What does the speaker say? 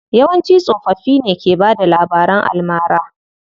Yawanci tsofaffin ke bada labaran almara.